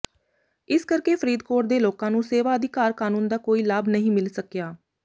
ਇਸ ਕਰਕੇ ਫ਼ਰੀਦਕੋਟ ਦੇ ਲੋਕਾਂ ਨੂੰ ਸੇਵਾ ਅਧਿਕਾਰ ਕਾਨੂੰਨ ਦਾ ਕੋਈ ਲਾਭ ਨਹੀਂ ਮਿਲ ਸਕਿਆ